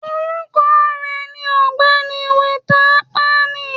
Orukọ rẹ ni Ọgbẹni Walter Akpani